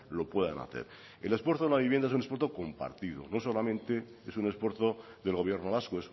lo puedan hacer el esfuerzo a una vivienda es un esfuerzo compartido no solamente es un esfuerzo del gobierno vasco